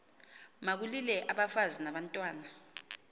makulile abafazi nabantwana